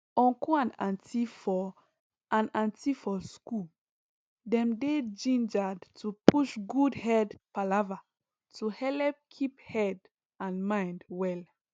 uncle and auntie for and auntie for school dem dey gingered to push good head palava to helep keep head and mind well